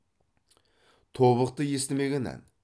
тобықты естімеген ән